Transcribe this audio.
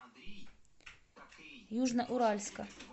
южноуральска